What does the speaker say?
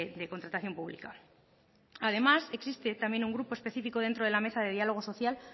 de contratación pública además existe también un grupo específico dentro de la mesa de diálogo social